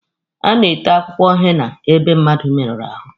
A na-ete akwụkwọ henna ebe mmadụ merụrụ ahụ.